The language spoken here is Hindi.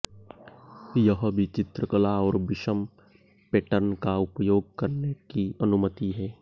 यह भी चित्रकला और विषम पैटर्न का उपयोग करने की अनुमति है